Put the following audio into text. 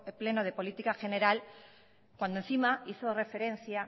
pleno de política general cuando encima hizo referencia